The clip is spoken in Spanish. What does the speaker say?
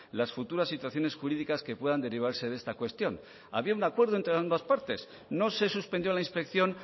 las futuras situaciones jurídicas que puedan derivarse de esta cuestión había un acuerdo entre ambas partes no se suspendió la inspección